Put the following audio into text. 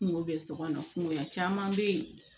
Kungo bɛ so kɔnɔ kungoya caman bɛ yen